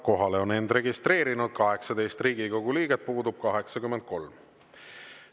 Kohale on end registreerinud 18 Riigikogu liiget, puudub 83.